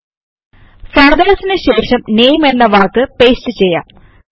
വരു ഫാദർസ് നു ശേഷം നാമെ എന്ന വാക്ക് പേസ്റ്റ് ചെയ്യാം